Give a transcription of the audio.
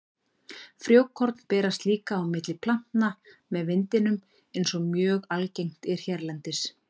Frjókorn berast líka á milli plantna með vindinum eins og mjög algengt er hérlendis.